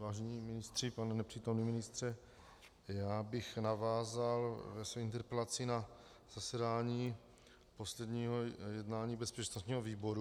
Vážení ministři, pane nepřítomný ministře, já bych navázal ve své interpelaci na zasedání posledního jednání bezpečnostního výboru.